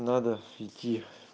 надо идти